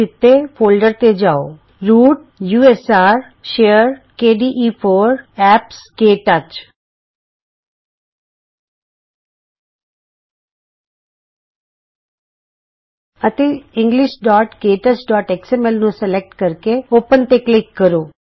ਨੀਚੇ ਦਿਤੇ ਫੋਲਡਰਤੇ ਜਾਉ root U S R share KDE four apps KTouch root usr share kde4 apps KTouch ਅਤੇ ਇੰਗਲਿਸ਼ਕੇ ਟੱਚਐਕਸ ਐਮ ਐਲ englishktouchਐਕਸਐਮਐਲ ਨੂੰ ਸਲੈਕਟ ਕਰੋ ਅਤੇ ਖੋਲ੍ਹੋ ਤੇ ਕਲਿਕ ਕਰੋ